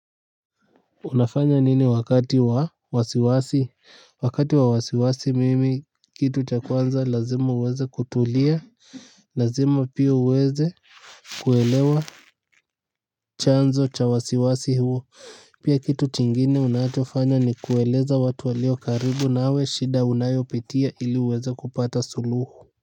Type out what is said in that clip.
Unafanya nini wakati wa wasiwasi? Wakati wa wasiwasi mimi kitu cha kwanza lazima uweze kutulia, lazima pia uweze kuelewa chanzo cha wasiwasi huo. Pia kitu kingine unachofanya ni kueleza watu walio karibu nawe shida unayopitia ili uweze kupata suluhu.